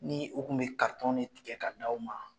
Ni u tun bɛ tigɛ ka di aw ma.